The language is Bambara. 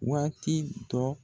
Waati dɔ.